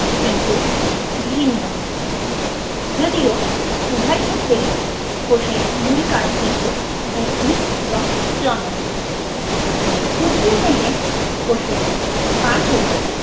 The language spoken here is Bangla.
কিন্তু ভিন্ন। যদিও উভয়ক্ষেত্রেই কোষের মূল কাজ কিন্তু বৃদ্ধি এবং জনন। উদ্ভিদদেহে কোষের কাজ হলো